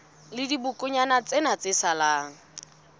la dibokonyana tsena tse salang